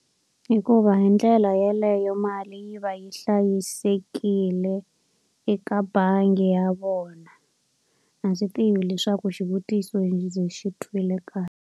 Hikuva hi ndlela yeleyo mali yi va yi hlayisekile eka bangi ya vona. A swi tivi leswaku xivutiso ndzi xi twile kahle.